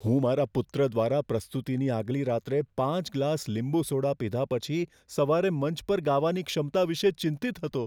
હું મારા પુત્ર દ્વારા પ્રસ્તુતિની આગલી રાત્રે પાંચ ગ્લાસ લીંબુ સોડા પીધા પછી સવારે મંચ પર ગાવાની ક્ષમતા વિશે ચિંતિત હતો.